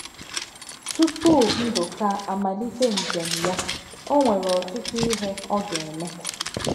Tupu Ndụka amalite njem ya, o nwere ọtụtụ ihe ọ ga - eme.